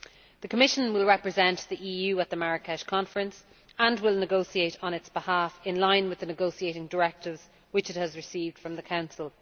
The Commission will represent the EU at the Marrakesh Conference and will negotiate on its behalf in line with the negotiating directives which it has received from the Council.